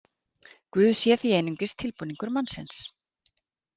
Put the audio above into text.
Guð sé því einungis tilbúningur mannsins.